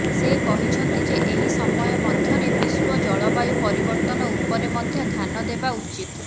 ସେ କହିଛନ୍ତି ଯେ ଏହି ସମୟ ମଧ୍ୟରେ ବିଶ୍ୱ ଜଳବାୟୁ ପରିବର୍ତ୍ତନ ଉପରେ ମଧ୍ୟ ଧ୍ୟାନ ଦେବା ଉଚିତ୍